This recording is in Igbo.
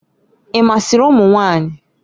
Ị masịrị ụmụ nwanyị?